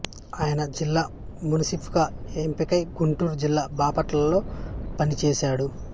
ఆయన జిల్లా మున్సిఫ్ గా ఎంపికై గుంటూరు జిల్లా బాపట్లలో పనిచేసాడు